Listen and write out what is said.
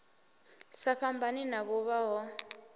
sa fhambani na vhuvha ho